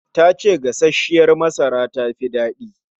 Ta ce gasasshiyar masara tafi daɗi